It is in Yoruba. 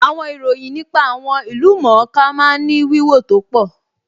Àwọn ìròyìn nípa àwọn ìlú-mọ̀-ọ́n-ká máa ń ní wíwò tó pọ̀